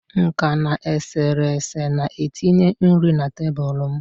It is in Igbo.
nka na eserese na-etinye nri na tebụl m